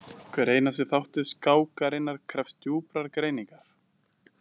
Hver einasti þáttur skákarinnar krefst djúprar greiningar.